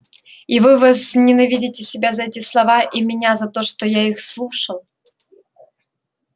и вы возненавидите себя за эти слова и меня за то что я их слушал